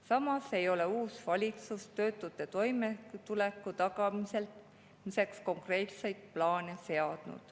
Samas ei ole uus valitsus töötute toimetuleku tagamiseks konkreetseid plaane seadnud.